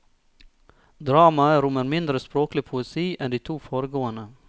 Dramaet rommer mindre språklig poesi enn de to foregående.